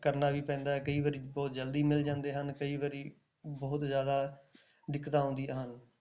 ਕਰਨਾ ਵੀ ਪੈਂਦਾ ਹੈ ਕਈ ਵਾਰੀ ਬਹੁਤ ਜ਼ਲਦੀ ਮਿਲ ਜਾਂਦੇ ਹਨ, ਕਈ ਵਾਰੀ ਬਹੁਤ ਜ਼ਿਆਦਾ ਦਿੱਕਤਾਂ ਆਉਂਦੀਆਂ ਹਨ।